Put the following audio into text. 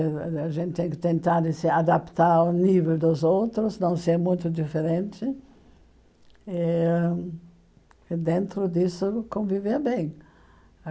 Ãh a gente tem que tentar se adaptar ao nível dos outros, não ser muito diferente, eh e dentro disso conviver bem.